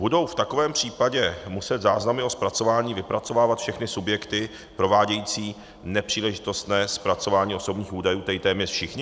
Budou v takovém případě muset záznamy o zpracování vypracovávat všechny subjekty provádějící nepříležitostné zpracování osobních údajů, tedy téměř všichni?